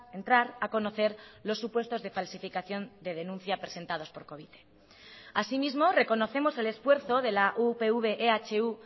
entrar a conocer los supuestos de falsificación de denuncia presentados por covite así mismo reconocemos el esfuerzo de la upv ehu